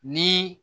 Ni